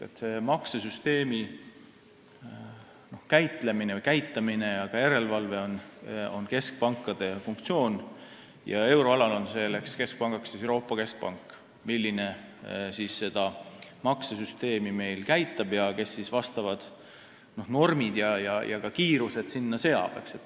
Kogu maksesüsteemi käitamine ja ka järelevalve on keskpankade funktsioon ja euroalal on Euroopa Keskpank, mis meie maksesüsteemi käitab ning ka sellele vastavad normid ja kiirused seab.